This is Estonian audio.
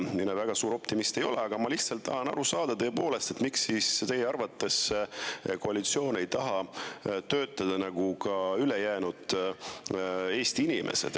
Mina väga suur optimist ei ole, aga ma lihtsalt tahan aru saada, miks teie arvates koalitsioon ei taha töötada nagu ülejäänud Eesti inimesed.